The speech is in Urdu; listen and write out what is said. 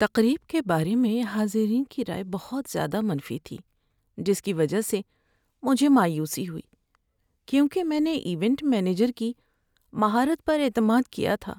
تقریب کے بارے میں حاضرین کی رائے بہت زیادہ منفی تھی، جس کی وجہ سے مجھے مایوسی ہوئی کیونکہ میں نے ایونٹ مینیجر کی مہارت پر اعتماد کیا تھا۔